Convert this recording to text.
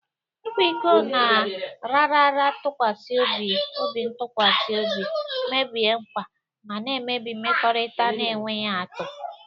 Ịkwa iko na- raara ntụkwasị obintụkwasị obi, mebie nkwa, ma na-emebi mmekọrịta na-enweghị atụ.